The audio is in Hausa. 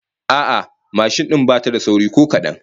A'a, mashin din bata da sauri ko kadan